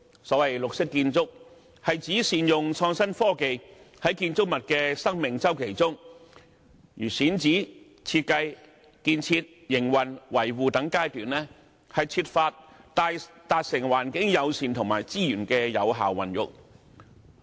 所謂綠色建築是指善用創新科技在建築物的生命周期中，例如選址、設計、建設、營運及維護等階段，設法達致環境友善和資源有效運用的目的。